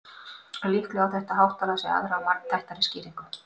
en líklega á þetta háttalag sér aðra og margþættari skýringu